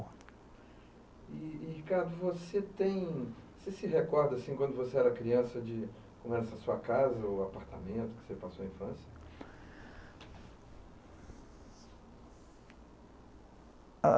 E e, Ricardo, você tem... Você se recorda assim, quando você era criança, de como era essa sua casa ou apartamento que você passou a infância?